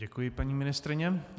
Děkuji, paní ministryně.